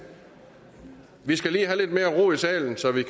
vi skal lige have lidt mere ro i salen så vi